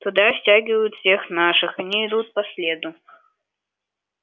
туда стягивают всех наших они идут по следу